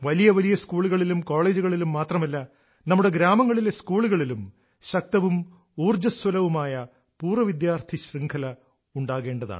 വലിയ വലിയ സ്കൂളുകളിലും കോളേജുകളിലും മാത്രമല്ല നമ്മുടെ ഗ്രാമങ്ങളിലെ സ്കൂളുകളിലും ശക്തവും ഉണ്ടാകേണ്ട